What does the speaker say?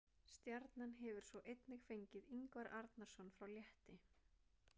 Stjarnan hefur svo einnig fengið Ingvar Arnarson frá Létti.